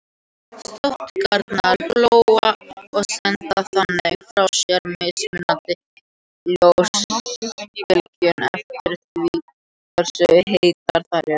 Sótagnirnar glóa og senda þannig frá sér mismunandi ljósbylgjur eftir því hversu heitar þær eru.